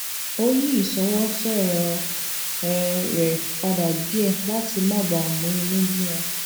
ó yí isowo soro um re pada díè láti má bàa mú inú bí wọn